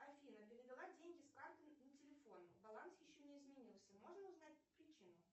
афина перевела деньги с карты на телефон баланс еще не изменился можно узнать причину